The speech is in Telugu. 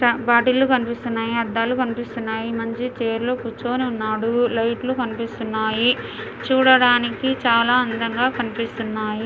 ద బాటిల్ లు కనిపిస్తున్నాయి. అద్దాలు కనిపిస్తున్నాయి. మనిషి చైర్ లో కూర్చొని ఉన్నాడు. లైట్ లు కనిపిస్తున్నాయి. చూడడానికి చాలా అందగా కనిపిస్తున్నాయి.